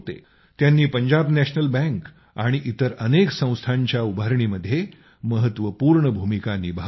त्यांनी Punjab National Bank आणि इतर अनेक संस्थांच्या उभारणीमध्ये महत्वपूर्ण भूमिका निभावली